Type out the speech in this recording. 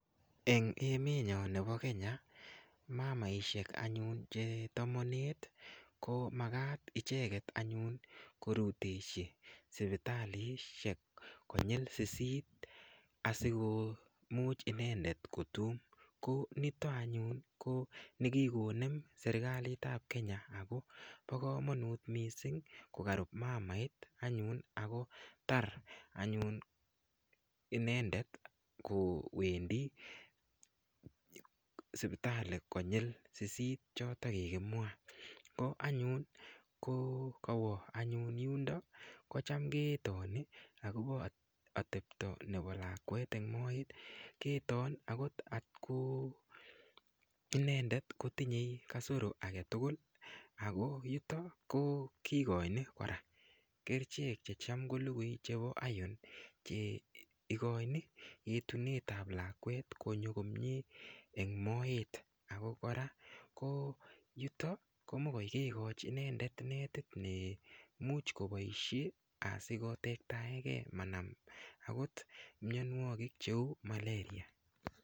Eng emetnyo nebo Kenya mamaishek anyun che tomonet komakat icheket anyun korutechi sipitalishek konyil sisit asikomuch inendet kotume ko nitok anyun ko nekikonem serikalit ap Kenya ako po komonut mising kokarup mamait anyun akotar anyun inendet kowendi sipitali konyil sisit choto kikimwa ko anyun ko kawo anyun yundo kocham ketoni akopo atepto nepo lakwet eng moet keton akot atko inendet kotinyei kasoro aketukul ako yuto ko kikoini kora kerchek checham kolukui chepo iron cheikoini etunet ap lakwet konyo komie eng moet ako kora ko yuto komokoi kekoch inendet netit nemuch koboishe asiko tektaekei manam akot mionwokik cheu malaria.